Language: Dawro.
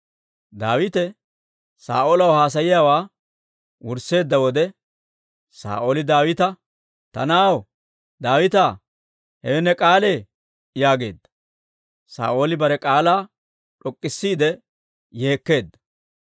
Daawite Saa'oolaw haasayiyaawaa wursseedda wode, Saa'ooli Daawita, «Ta na'aw Daawitaa, hewe ne k'aalee?» yaageedda; Saa'ooli bare k'aalaa d'ok'k'isiide yeekkeedda.